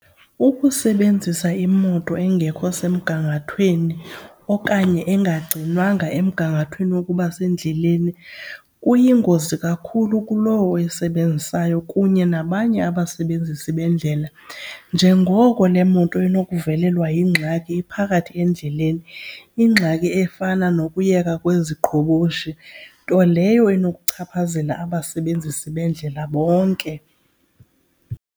Ukusebenzisa imoto engekho semgangathweni okanye engagcinwanga emgangathweni wokuba sendleleni kuyingozi kakhulu kulowo oyisebenzisayo kunye nabanye abasebenzisi bendlela njengoko le moto inokuvalelwa yingxaki iphakathi endleleni, ingxaki efana nokuyeka kweziqhoboshi, nto leyo enokuchaphazela abasebenzisi bendlela bonke.